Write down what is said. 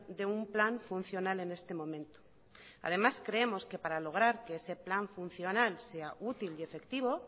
de un plan funcional en este momento además creemos que para lograr que ese plan funcional sea útil y efectivo